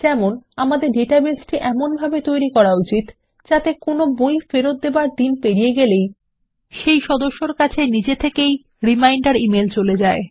যেমন আমাদের ডেটাবেস টি এমনভাবে গঠন করা উচিত যাতে কোনো বই ফেরত দেবার দিন পেরিয়ে গেলে সেই সদস্যর কাছে নিজে থেকেই রিমাইন্ডার ইমেল চলে যায়